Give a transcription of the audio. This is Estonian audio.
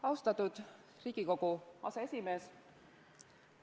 Austatud Riigikogu aseesimees!